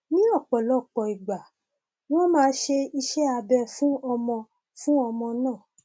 ní ọpọlọpọ ìgbà wọn máa ṣe iṣẹ abẹ fún ọmọ fún ọmọ náà